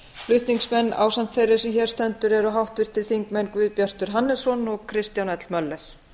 flutningsmenn ásamt þeirri sem hér stendur eru háttvirtir þingmenn guðbjartur hannesson og kristján l möller